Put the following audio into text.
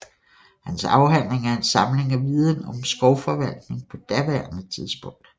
Hans afhandling er en samling af viden om skovforvaltning på daværende tidspunkt